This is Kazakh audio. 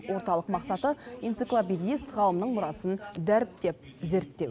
орталық мақсаты энциклопедист ғалымның мұрасын дәріптеп зерттеу